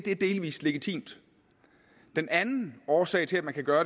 er delvis legitimt den anden årsag til at man kan gøre